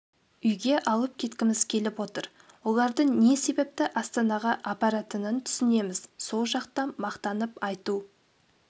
үйге алып кеткіміз келіп отыр оларды не себепті астанаға апаратынын түсінеміз сол жақта мақтанып айту